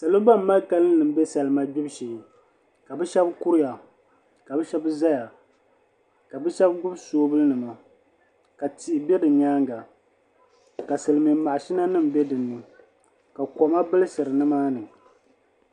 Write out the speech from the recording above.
Salo ban mali kalinli n bɛ salima gbibu shee ka bi shab kuriya ka bi shab ʒɛya ka bi shab gbubi soobuli nima ka tia bɛ bi nyaanga ka silmiin mashina nim bɛ dinni ka koma bilsiri nimaani